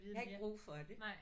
Jeg har ikke brug for det